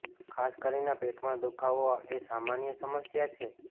ખાસ કરીને પેટમાં દુખાવો એ સામાન્ય સમસ્યા છે